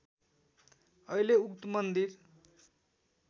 अहिले उक्त मन्दिर